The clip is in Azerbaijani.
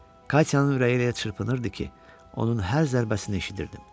Katyanın ürəyi elə çırpınırdı ki, onun hər zərbəsini eşidirdim.